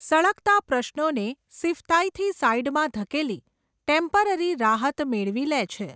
સળગતા પ્રશ્નોને સિફતાઈથી સાઈડમાં ધકેલી, ટેમ્પરરી રાહત મેળવી લે છે.